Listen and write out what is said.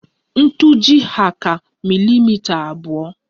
Ntuji' hà ka milimita abụọ